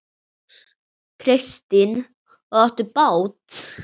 Kristín: Og áttu bát?